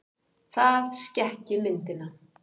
Það skekki myndina.